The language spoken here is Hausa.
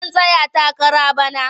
Zan tsaya takara bana.